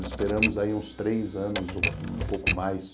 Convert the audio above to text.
Esperamos aí uns três anos, um pouco mais.